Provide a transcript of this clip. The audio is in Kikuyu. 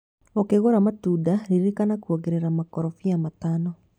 Ũkigũra matunda ririkana kuongerera makorobia matano.